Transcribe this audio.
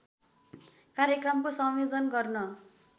कार्यक्रमको संयोजन गर्न